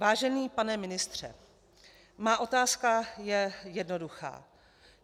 Vážený pane ministře, má otázka je jednoduchá.